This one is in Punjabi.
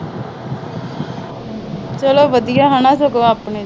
ਚਲੋ ਵਧੀਆ ਸਗੋਂ ਆਪਣੇ